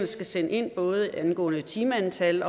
skal sende ind både angående timeantal